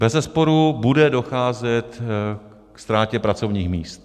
Bezesporu bude docházet ke ztrátě pracovních míst.